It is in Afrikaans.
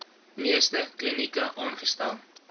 meeste klinieke aangestel